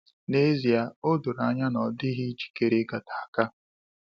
N'ezịe a, odoro anya na ọ dịghị njikere igata aka.